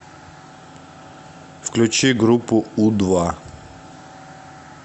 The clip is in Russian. включи группу у два